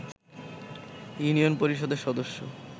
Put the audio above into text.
union পরিষদের সদস্য